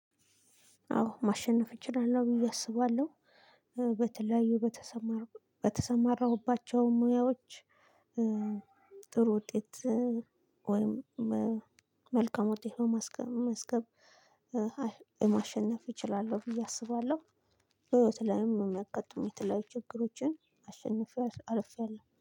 አዎ ማሸነፍ እችላለሁ ብዬ አስባለሁ። በተለያዩ በተሰማሩ በተሰማራሁባቸው ሙያዎች። ጥሩ ውጤት ወይም መልካም ውጤት ማስመዝገብ። ማሸነፍ እችላለሁ ብዬ አስባለሁ በህይወት ላይም የሚያጋጥሙ የተለያዩ ችግሮችን አሸንፌ አልፌያለሁ